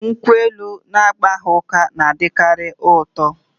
Nkwụ elu na-agbaghị ụka na-adịkarị ụtọ